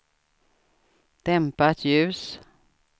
dämpat ljus